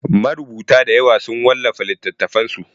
Marubuta dayawa sun wallafa littatafansu.